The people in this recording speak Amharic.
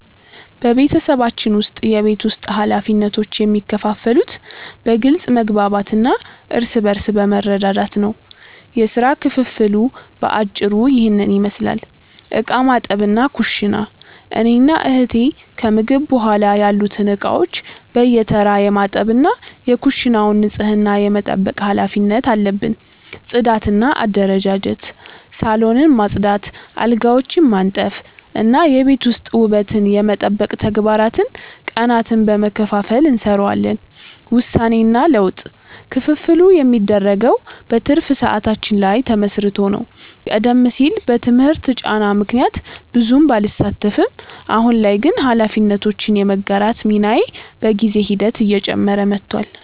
በቤተሰባችን ውስጥ የቤት ውስጥ ኃላፊነቶች የሚከፋፈሉት በግልጽ መግባባት እና እርስ በርስ በመረዳዳት ነው። የሥራ ክፍፍሉ በአጭሩ ይህንን ይመስላል፦ ዕቃ ማጠብና ኩሽና፦ እኔና እህቴ ከምግብ በኋላ ያሉትን ዕቃዎች በየተራ የማጠብ እና የኩሽናውን ንጽህና የመጠበቅ ኃላፊነት አለብን። ጽዳትና አደረጃጀት፦ ሳሎንን ማጽዳት፣ አልጋዎችን ማንጠፍ እና የቤት ውስጥ ውበትን የመጠበቅ ተግባራትን ቀናትን በመከፋፈል እንሰራዋለን። ውሳኔና ለውጥ፦ ክፍፍሉ የሚደረገው በትርፍ ሰዓታችን ላይ ተመስርቶ ነው። ቀደም ሲል በትምህርት ጫና ምክንያት ብዙም ባልሳተፍም፣ አሁን ላይ ግን ኃላፊነቶችን የመጋራት ሚናዬ በጊዜ ሂደት እየጨመረ መጥቷል።